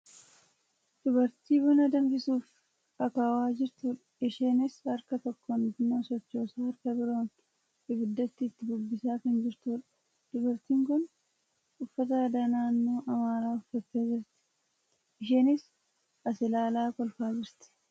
Dubartii buna danfisuuf akaawaa jirtudha. Isheenis harka tokkoon buna sochoosaa harka biroon ibidda itti bubbisaa kan jirtudha. Dubartiin kun uffata aadaa naannoo amaaraa uffattee jirti. Isheenis as ilaalaa kolfaa jirti.